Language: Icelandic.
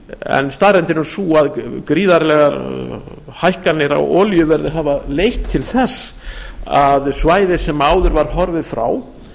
en staðreyndin er sú að gríðarlegar hækkanir á olíuverði hafa leitt til þess að svæði sem áður var horfið frá